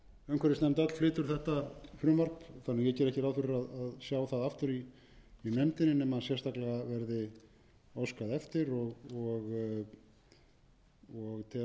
umhverfisnefnd öll flytur þetta frumvarp þannig að ég geri ekki ráð fyrir að sjá það aftur í nefndinni nema sérstaklega verði óskað eftir og tel að ekki sé ástæða til þess að þetta